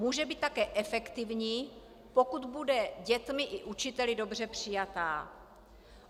Může být také efektivní, pokud bude dětmi i učiteli dobře přijata.